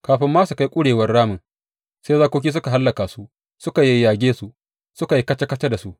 Kafin ma su kai ƙurewar ramin, sai zakoki suka hallaka su suka yayyage su, suka yi kaca kaca da su.